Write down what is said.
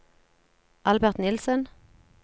Albert Nielsen